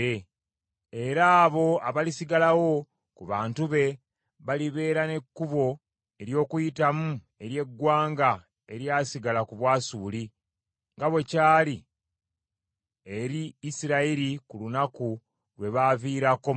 Era abo abalisigalawo ku bantu be balibeera n’ekkubo ery’okuyitamu ery’eggwanga eryasigala ku Bwasuli nga bwe kyali eri Isirayiri ku lunaku lwe baaviirako mu Misiri.